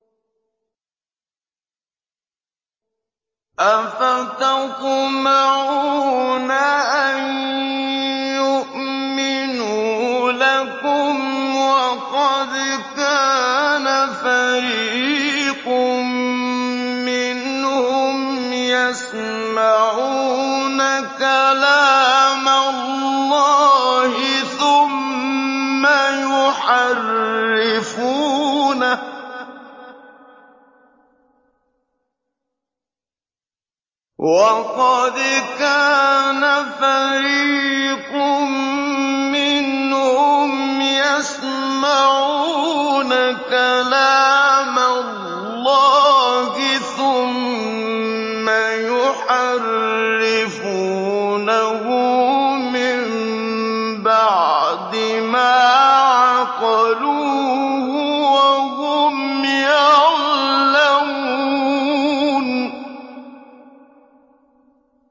۞ أَفَتَطْمَعُونَ أَن يُؤْمِنُوا لَكُمْ وَقَدْ كَانَ فَرِيقٌ مِّنْهُمْ يَسْمَعُونَ كَلَامَ اللَّهِ ثُمَّ يُحَرِّفُونَهُ مِن بَعْدِ مَا عَقَلُوهُ وَهُمْ يَعْلَمُونَ